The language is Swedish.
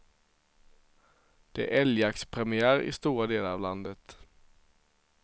Det är älgjaktspremiär i stora delar av landet.